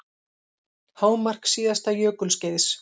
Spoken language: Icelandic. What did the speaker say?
Hámark síðasta jökulskeiðs